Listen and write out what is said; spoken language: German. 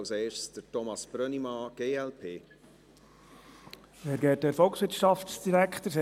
Als Erstes hat Thomas Brönnimann, glp, das Wort.